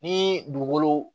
Ni dugukolo